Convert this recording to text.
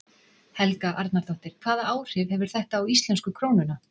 Helga Arnardóttir: Hvaða áhrif hefur þetta á íslensku krónuna?